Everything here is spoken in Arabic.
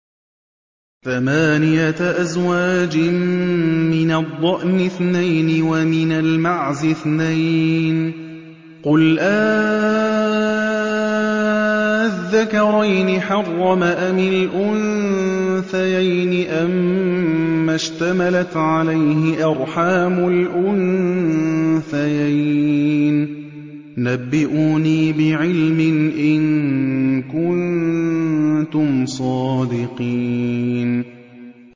ثَمَانِيَةَ أَزْوَاجٍ ۖ مِّنَ الضَّأْنِ اثْنَيْنِ وَمِنَ الْمَعْزِ اثْنَيْنِ ۗ قُلْ آلذَّكَرَيْنِ حَرَّمَ أَمِ الْأُنثَيَيْنِ أَمَّا اشْتَمَلَتْ عَلَيْهِ أَرْحَامُ الْأُنثَيَيْنِ ۖ نَبِّئُونِي بِعِلْمٍ إِن كُنتُمْ صَادِقِينَ